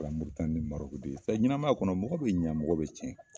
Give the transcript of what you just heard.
O kɛra Moritani ni Marɔki de ye. Ɛɛ ɲɛnamaya kɔnɔ, mɔgɔ be ɲɛn mɔgɔ be tiɲɛ.